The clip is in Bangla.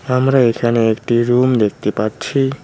আমরা এখানে একটি রুম দেখতে পাচ্ছি।